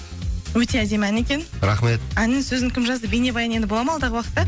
өте әдемі ән екен рахмет әнін сөзін кім жазды бейнебаян енді болады ма алдағы уақытта